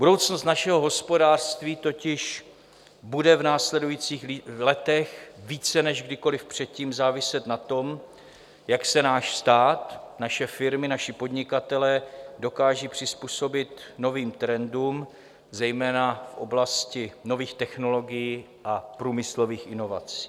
Budoucnost našeho hospodářství totiž bude v následujících letech více než kdykoliv předtím záviset na tom, jak se náš stát, naše firmy, naši podnikatelé dokážou přizpůsobit novým trendům, zejména v oblasti nových technologií a průmyslových inovací.